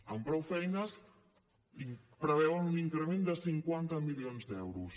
amb prou feines preveuen un increment de cinquanta milions d’euros